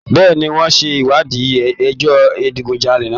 Bẹ́ẹ̀ni, wọ́n ń ṣe ìwádìí ẹjọ́ ìdigunjalè náà.